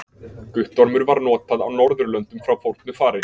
Guttormur var notað á Norðurlöndum frá fornu fari.